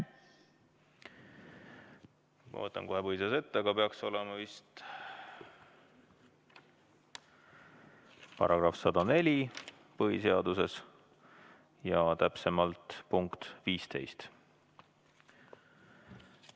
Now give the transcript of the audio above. Ma võtan kohe põhiseadus ette, aga see peaks vist olema § 104 ja täpsemalt punkt 15.